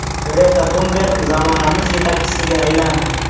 Greta Tunberg zamonamiz yetakchisiga aylandi.